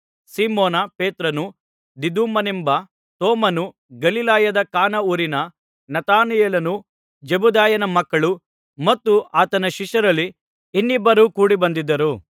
Simon ಪೇತ್ರನೂ ದಿದುಮನೆಂಬ ತೋಮನೂ ಗಲಿಲಾಯದ ಕಾನಾ ಊರಿನ ನತಾನಯೇಲನೂ ಜೆಬೆದಾಯನ ಮಕ್ಕಳೂ ಮತ್ತು ಆತನ ಶಿಷ್ಯರಲ್ಲಿ ಇನ್ನಿಬ್ಬರೂ ಕೂಡಿಬಂದಿದ್ದರು